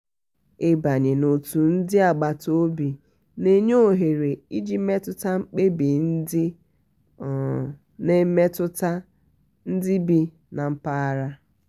ịbanye n'otu ndị agbata obi na-enye ọhere iji metụta mkpebi ndị um na-emetụta ndị bi na mpaghara. um